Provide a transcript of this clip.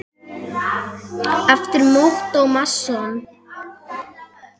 eftir Ottó Másson